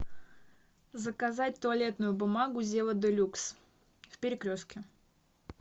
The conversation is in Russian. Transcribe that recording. заказать туалетную бумагу зева де люкс в перекрестке